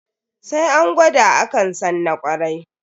Sai an gwada akan san na kwarai.